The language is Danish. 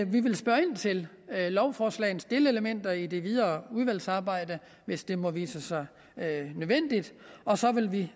vi vil spørge ind til lovforslagets delelementer i det videre udvalgsarbejde hvis det må vise sig nødvendigt og så vil vi